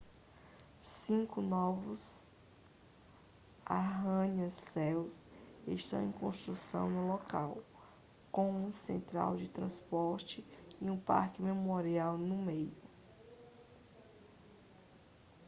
cinco novos arranha-céus estão em construção no local com uma central de transportes e um parque memorial no meio